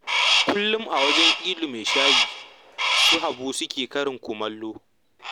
Kullum a wajen Ilu mai shayi su Habu suke karya kumallo